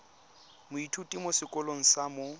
moithuti mo sekolong sa mo